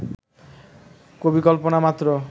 কবিকল্পনা মাত্র